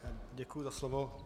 Děkuji za slovo.